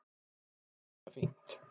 En henni þótti þetta fínt.